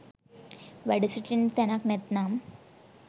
වැඩ සිටින්නට තැනක් නැත්නම්